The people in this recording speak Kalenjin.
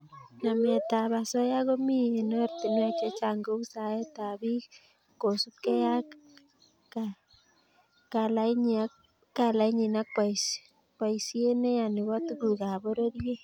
Nametab osoya komi eng oratinwek chechang kou saetab bik kosubkei ak kalainyi ak boisiet neya nebo tugukab pororiet